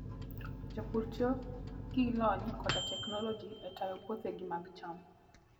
Jopur tiyo gi lony koda teknoloji e tayo puothegi mag cham.